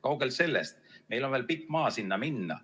Kaugel sellest, meil on veel pikk maa sinna minna.